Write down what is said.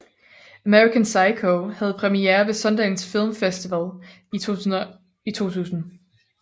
American Psycho havde premiere ved Sundance Film Festival i 2000